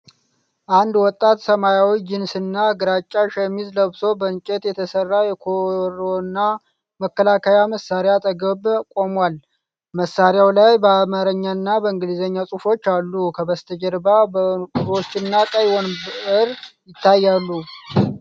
አንድ ወጣት ሰማያዊ ጂንስና ግራጫ ሸሚዝ ለብሶ በእንጨት የተሰራ የኮሮና መከላከያ መሳሪያ አጠገብ ቆሟል። መሣሪያው ላይ በአማርኛና በእንግሊዝኛ ጽሑፎች አሉ፣ ከበስተጀርባ በሮችና ቀይ ወንበር ይታያሉ።